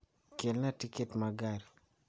Kelna tiket ma gari